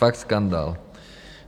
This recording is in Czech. Fakt skandál.